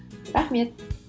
рахмет